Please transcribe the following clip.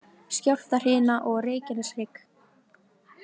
Skjálftahrina á Reykjaneshrygg